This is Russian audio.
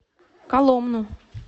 коломну